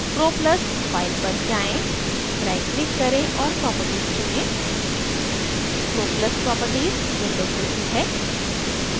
croplus file पर जाएँ right click करें और properties चुनें croplus properties window खुलती है